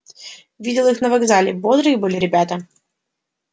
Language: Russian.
видел их на вокзале бодрые были ребята